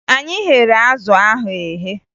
Anyị ghere azụ ahụ eghe